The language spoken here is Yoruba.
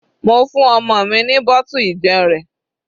Mo fún ọmọ mi ní bottle ìjẹun rẹ̀.